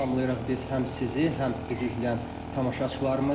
Salamlayırıq biz həm sizi, həm bizi izləyən tamaşaçılarımızı.